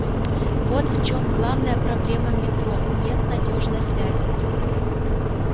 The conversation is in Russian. вот в чём главная проблема метро нет надёжной связи